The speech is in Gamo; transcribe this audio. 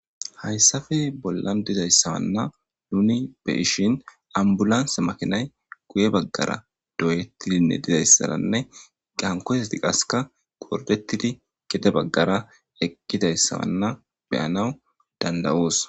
hayssafe bollan dizayssawanna nuni be ishin ambulansa makinay guye baggara doyettidinne dizayssaranne qankoseti qaseka gordettidi gede baggara eqqidayssawanna beyanaw dandawoos